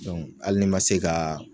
Dɔnku ali n'i ma se ka